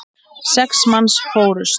Sex manns fórust.